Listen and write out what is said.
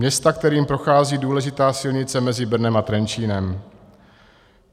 Města, kterým prochází důležitá silnice mezi Brnem a Trenčínem.